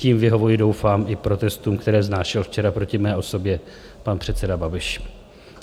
Tím vyhovuji, doufám, i protestům, které vznášel včera proti mé osobě pan předseda Babiš.